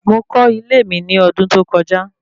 Mo kọ́ ilé mi ní ọdún tó kọjá